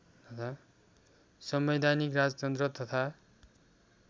संवैधानिक राजतन्त्र तथा